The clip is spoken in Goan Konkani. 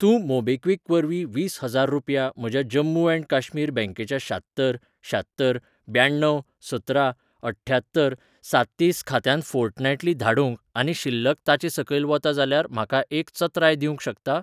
तूं मोबीक्विक वरवीं वीस हजार रुपया म्हज्या जम्मू ऍण्ड काश्मीर बँकेच्या शात्तर शात्तर ब्याण्णव सतरा अठ्ठ्यात्तर साततीस खात्यांत फोर्टनायटली धाडूंक आनी शिल्लक ताचे सकयल वता जाल्यार म्हाका एक चत्राय दिवंक शकता?